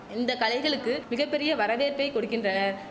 இந்த கலைகளுக்கு மிக பெரிய வரவேற்பை கொடுக்கின்றனர்